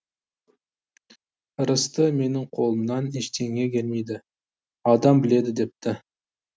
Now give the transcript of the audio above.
ырысты менің қолымнан ештеңе келмейді аудан біледі депті